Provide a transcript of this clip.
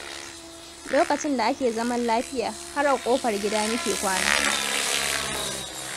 Lokacin da ake zaman lafiya, har a ƙofar gida muke kwana.